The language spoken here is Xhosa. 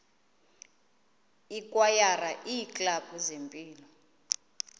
ikwayara iiklabhu zempilo